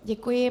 Děkuji.